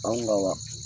Anw ka